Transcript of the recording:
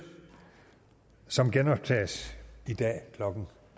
som genoptages i dag klokken